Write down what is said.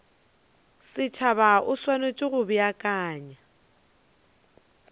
setšhaba o swanetše go beakanya